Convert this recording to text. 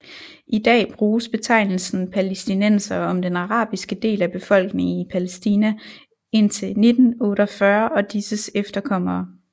I dag bruges betegnelsen palæstinensere om den arabiske del af befolkningen i Palæstina indtil 1948 og disses efterkommere